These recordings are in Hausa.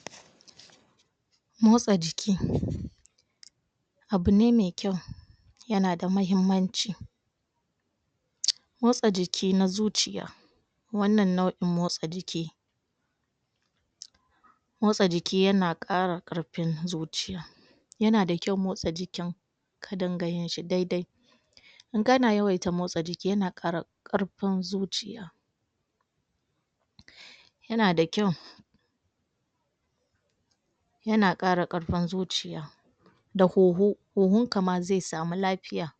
? motsa jiki abune maikyau yana da muhimmanci motsa jiki na zuciya wannan nau'in motsa jiki motsa jiki yana ƙara ƙarfin zuciya yana da kyau motsa jiki ka dinga yin shi daidai in kana yawaita motsa jiki ya na ƙara ƙarfin zuciya yana da kyau yana ƙara ƙarfin zuciya da huhu, huhun kama zai samu lafiya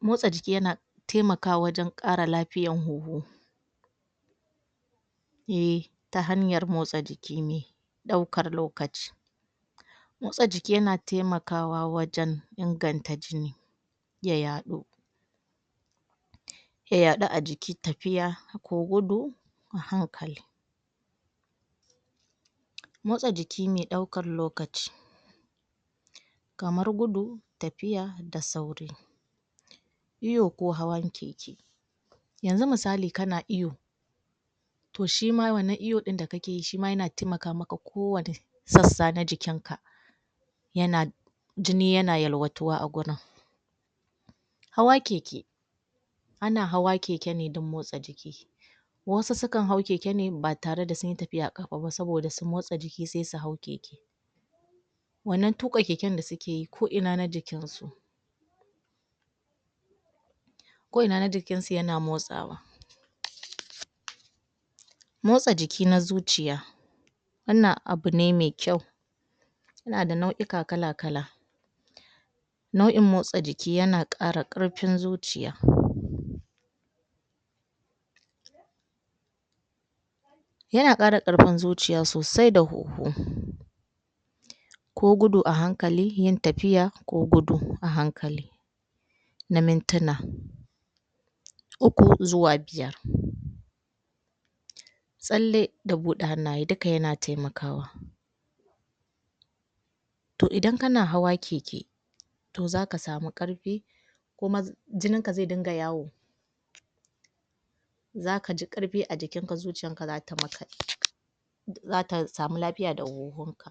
motsa jiki yana temaka wa wajen ƙara lafiyan huhu iyi ta hanyar motsa jiki ne daukar lokaci motsa jiki yana temakawa wajen inganta jini ya yadu ya yadu ajiki tafiya ko gudu a hankali motsa jiki mai ɗaukar lokaci kamar gudu tafiya da sauri iyo ko hawan keke yanzu misali kana iyo to shima wannan iyo da kake yi yana temaka a kowani sassa na jikinka yana jini ya na yewatuwa a gurin hawa keke ana hawa keke ne don motsa jiki wasu sukan hau keke ne batare da sunyi tafiyar ƙafa ba saboda su motsa jiki sai su hau keke wannan tuƙa keke da sukeyi ko ina na jikinsu ko ina na jikinsu yana motsawa motsa jiki na zuciya wannan abune mai kyau yana da nau'uka kalakala nau'in motsa jiki yana ƙara ƙarfin zuciya yana ƙara ƙarfin zuciya sosai da huhu ko gudu a hankali yin tafiya ko gudu a hankali na mintuna uku zuwa biyar tsalle da bude hannaye duka yana temakawa to idan kana hawa keke to zaka samu ƙarfi kuma jininka zai dinga yawo zakaji ƙarfi a jikinka zuciyar zata maka zata samu lafiya da huhun ka